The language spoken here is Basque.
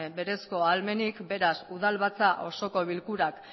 berezko ahalmenik beraz udalbatza osoko bilkurak